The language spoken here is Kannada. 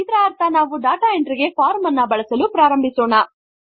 ಇದರ ಅರ್ಥ ನಾವು ಡಾಟಾ ಎಂಟ್ರಿ ಗೆ ಫಾರ್ಮ್ ಅನ್ನು ಬಳಸಲು ಪ್ರಾರಂಭಿಸೋಣ